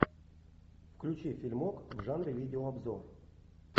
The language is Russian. включи фильмок в жанре видеообзор